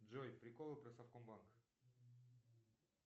джой приколы про совкомбанк